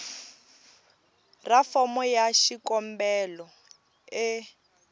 ra fomo ya xikombelo e